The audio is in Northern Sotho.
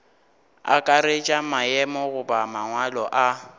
akaretša maemo goba mangwalo a